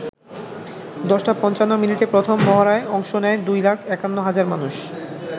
১০ টা ৫৫ মিনিটে প্রথম মহড়ায় অংশ নেয় ২ লাখ ৫১ হাজার মানুষ।